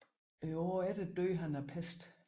Året efter døde han af pest